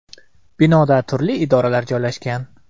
Binoda turli idoralar joylashgan.